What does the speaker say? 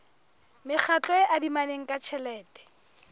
mekgatlo e adimanang ka tjhelete